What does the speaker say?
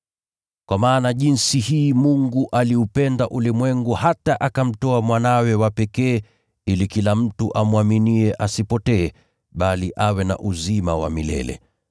“Kwa maana jinsi hii Mungu aliupenda ulimwengu hata akamtoa Mwanawe wa pekee, ili kila mtu amwaminiye asipotee, bali awe na uzima wa milele.